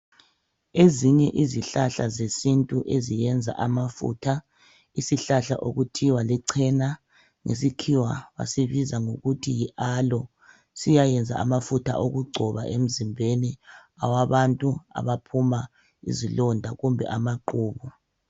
Ezinye izihlahla zesintu eziyenza amafutha yisihlahla okuthiwa lichens ngesikhiwa basilica kuthiwe yialoe bayasisebenzisa ukusingcoba emzimbeni awabantu abaphuma izilonda kumbe amaqhubu